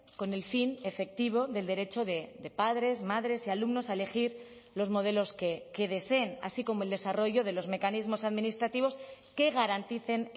con el fin efectivo del derecho de padres madres y alumnos a elegir los modelos que deseen así como el desarrollo de los mecanismos administrativos que garanticen